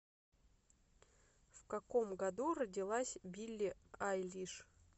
в каком году родилась билли айлиш